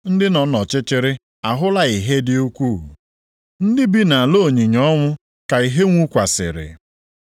ndị nọ nʼọchịchịrị ahụla ìhè dị ukwuu. Ndị bi nʼala onyinyo ọnwụ ka ìhè nwukwasịrị.” + 4:16 \+xt Aịz 9:1,2\+xt*